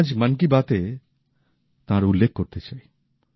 আমি আজ মন কি বাত এ তাঁর উল্লেখ করতে চাই